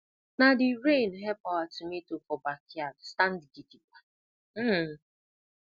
na the rain help our tomato for backyard stand gidigba um